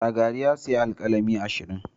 Shagari ya sayi alkalami ashirin.